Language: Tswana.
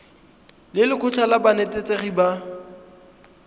le lekgotlha la banetetshi ba